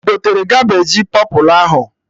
Ị gotere Cabeji pọpụlụ ahụ?